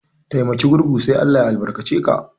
Taimaki gurgu sai ALLAH ya albarka ce ka.